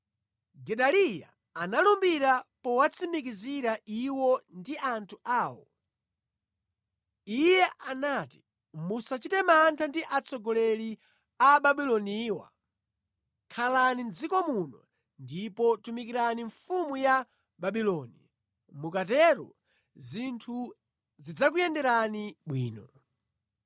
Gedaliya analumbira powatsimikizira iwo ndi anthu awo. Iye anati, “Musachite mantha ndi atsogoleri Ababuloniwa. Khalani mʼdziko muno ndipo tumikirani mfumu ya Babuloni. Mukatero zinthu zidzakuyenderani bwino.”